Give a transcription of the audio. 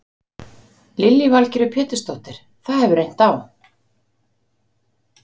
Lillý Valgerður Pétursdóttir: Það hefur reynt á?